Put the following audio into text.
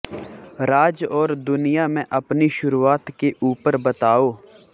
राज और दुनिया में अपनी शुरुआत के ऊपर बताओ